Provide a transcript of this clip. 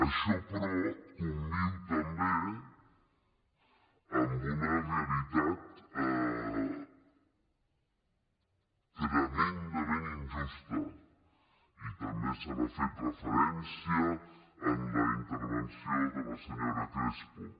això però conviu també amb una realitat tremendament injusta i també s’hi ha fet referència en la intervenció de la senyora crespo